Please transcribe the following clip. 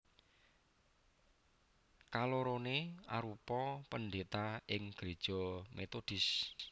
Kaloroné arupa pendhéta ing gréja metodis